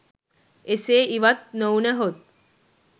එසේ ඉවත් නොවුනහොත්